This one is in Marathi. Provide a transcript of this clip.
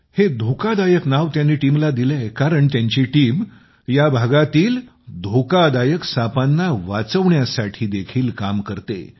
हे धोकादायक नाव त्यांनी टीमला दिलय कारण त्याची टीम या भागातील धोकादायक सापांना वाचवण्यासाठी देखील काम करते